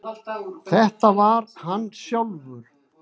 Þetta var hann sjálfur.